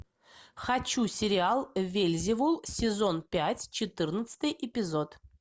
хочу сериал вельзевул сезон пять четырнадцатый эпизод